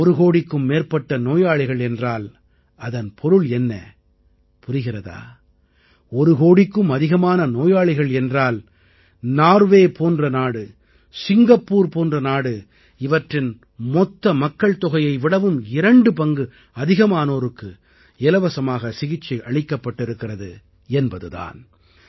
ஒரு கோடிக்கும் மேற்பட்ட நோயாளிகள் என்றால் அதன் பொருள் என்ன புரிகிறதா ஒரு கோடிக்கும் அதிகமான நோயாளிகள் என்றால் நார்வே போன்ற நாடு சிங்கப்பூர் போன்ற நாடு இவற்றின் மொத்த மக்கள்தொகையை விடவும் இரண்டு பங்கு அதிகமானோருக்கு இலவசமாக சிகிச்சை அளிக்கப்பட்டிருக்கிறது என்பது தான்